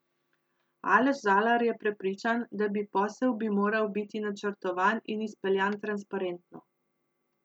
Aleš Zalar je prepričan, da bi posel bi moral biti načrtovan in izpeljan transparentno.